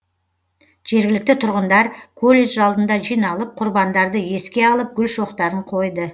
жергілікті тұрғындар колледж алдына жиналып құрбандарды еске алып гүл шоқтарын қойды